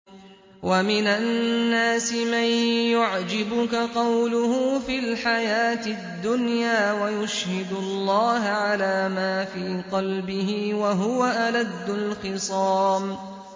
وَمِنَ النَّاسِ مَن يُعْجِبُكَ قَوْلُهُ فِي الْحَيَاةِ الدُّنْيَا وَيُشْهِدُ اللَّهَ عَلَىٰ مَا فِي قَلْبِهِ وَهُوَ أَلَدُّ الْخِصَامِ